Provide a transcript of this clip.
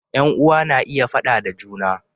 Yan uwa na iya faɗa da juna